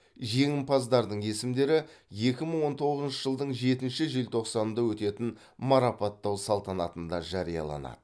жеңімпаздардың есімдері екі мың он тоғызыншы жылдың жетінші желтоқсанында өтетін марапаттау салтанатында жарияланады